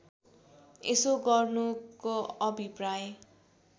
यसो गर्नुको अभिप्राय